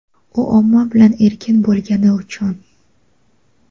u omma bilan erkin bo‘lgani uchun.